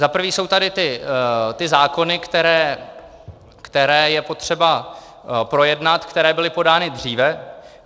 Za prvé jsou tady ty zákony, které je potřeba projednat, které byly podány dříve.